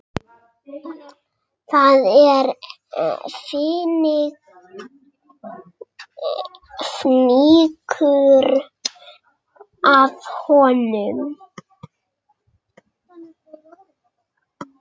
Það er fnykur af honum.